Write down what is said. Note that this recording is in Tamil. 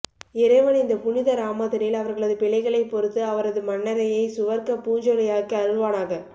இறைவன் இந்த புனித ராமதனில் அவர்களது பிழைகளை பொறுத்து அவரது மண்ணறையை சுவர்க்க பூஞ்சொலையாக்கி அருள்வானாக